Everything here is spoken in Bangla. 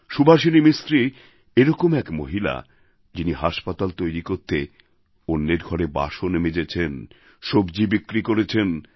সুভাষিনী মিস্ত্রী এরকম এক মহিলা যিনি হাসপাতাল তৈরি করতে অন্যের ঘরে বাসন মেজেছেন সব্জী বিক্রি করেছেন